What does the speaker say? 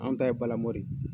An ta ye balamɔn de.